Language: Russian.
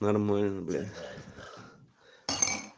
нормально бля